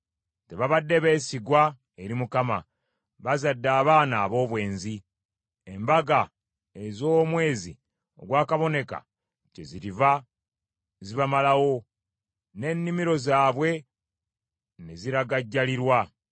Tebabadde beesigwa eri Mukama ; bazadde abaana aboobwenzi. Embaga ez’omwezi ogwakaboneka kyeziriva zibamalawo, n’ennimiro zaabwe ne ziragajjalirwa.